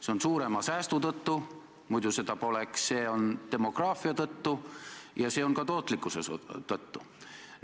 See on suurema säästu tõttu – muidu seda poleks –, see on demograafia tõttu ja see on ka tootlikkuse tõttu.